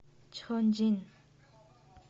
чхонджин